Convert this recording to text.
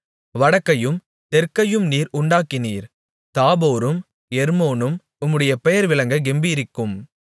வடக்கையும் தெற்கையும் நீர் உண்டாக்கினீர் தாபோரும் எர்மோனும் உம்முடைய பெயர் விளங்கக் கெம்பீரிக்கும்